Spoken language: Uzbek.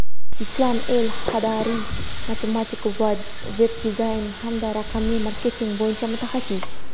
Islam El Hadary- matematik va veb -dizayn hamda raqamli marketing bo‘yicha mutaxassis.